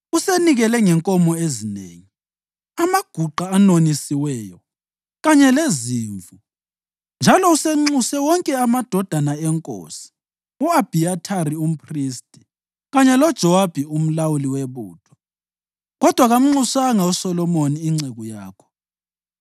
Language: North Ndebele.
Usenikele ngenkomo ezinengi, amaguqa anonisiweyo, kanye lezimvu, njalo usenxuse wonke amadodana enkosi, u-Abhiyathari umphristi kanye loJowabi umlawuli webutho, kodwa kamnxusanga uSolomoni inceku yakho.